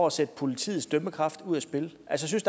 at sætte politiets dømmekraft ud af spil jeg synes